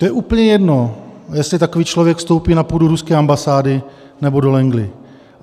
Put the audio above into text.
To je úplně jedno, jestli takový člověk vstoupí na půdu ruské ambasády, nebo do Langley.